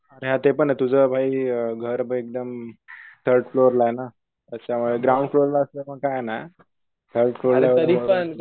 अरे हा ते पाने तुझं भाई घर एकदम थर्ड फ्लोअरला ये ना. अच्छा ग्राउंड फ्लोअर ला असत मग काय नाय